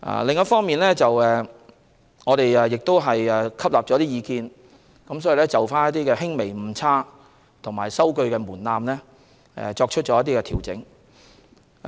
另一方面，我們亦吸納了一些意見，就選舉的輕微誤差數額及收據門檻作出調整。